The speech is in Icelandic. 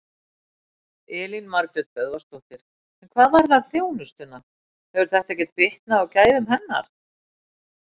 Elín Margrét Böðvarsdóttir: En hvað varðar þjónustuna, hefur þetta ekkert bitnað á gæðum hennar?